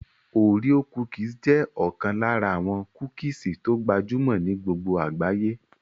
Oreo cookies jẹ́ ọ̀kan lára àwọn kúkìsì tó gbajúmọ̀ ní gbogbo àgbáyé